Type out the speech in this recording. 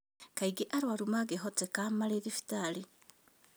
Kaingĩ arũaru mangĩhoteka marĩ thibitarĩ